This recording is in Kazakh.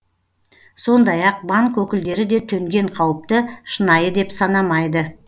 сондай ақ банк өкілдері де төнген қауіпті шынайы деп санамайды